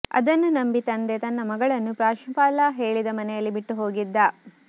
ಅದನ್ನು ನಂಬಿ ತಂದೆ ತನ್ನ ಮಗಳನ್ನು ಪ್ರಾಂಶುಪಾಲ ಹೇಳಿದ ಮನೆಯಲ್ಲಿ ಬಿಟ್ಟು ಹೋಗಿದ್ದ